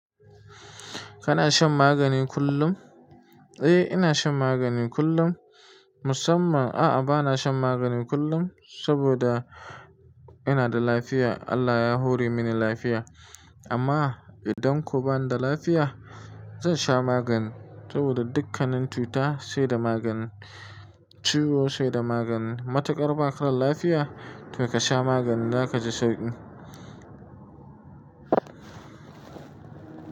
Kana shan magani kullum? Eh, ina shan magani kullum. Musamman a'a bana shan magani kullum saboda ina da lafiya. Allah ya hore mini lafiya. Amma idan ko ba ni da lafiya, zan sha magani saboda dukkanin cuta sai da magani. Ciwo sai da magani. Matukar ba ka da lafiya, to ka sha maganin. Zaka ji sauki.